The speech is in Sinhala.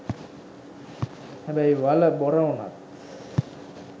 හැබැයි වළ බොර වුණත්